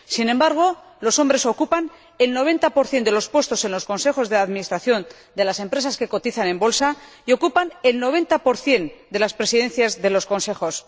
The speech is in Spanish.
Sin embargo, los hombres ocupan el 90 de los puestos en los consejos de administración de las empresas que cotizan en bolsa y ocupan el 90 de las presidencias de los consejos.